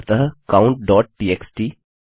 अतः countटीएक्सटी